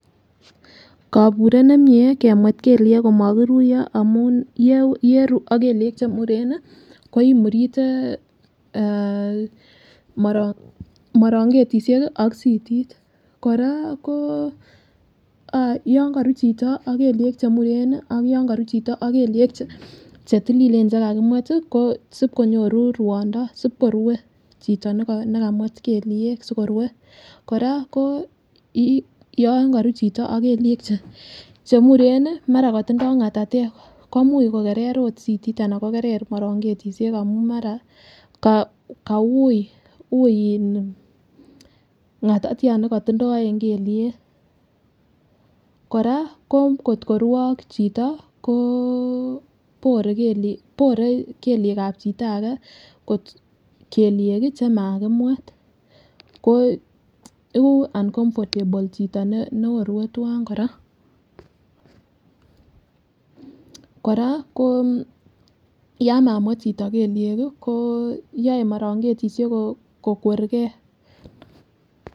Koburet nemie kemwet kelyek komokiruyo amun ye yeru ak kelyek chemuren nii koimurite eh moro morongetishek ak sitit, Koraa ko yon korur chito ak kelyek chemuren nii ak yon korur chito ak kelyek chetililen chekakimwet tii ko sib konyoru ruondo sibkorue chito nekamwet kelyek sibkorue. Koraa ko yon korur chito ak kelyek chemuren nii mara kotindo ngatatek komuch mokeree ot sitit anan kokere morongetishek amun mara ko koui ii ngatatiat nekotindo en kelyek. Koraa ko kotko the ak chito koo bore kelyeka chito age kot kelyek kii chekakimwet ko iko uncomfortable chito ne nekorur twan Koraa. Koraa ko yon mamwet chito kelyek kii ko yoe morongetishek kokwergee.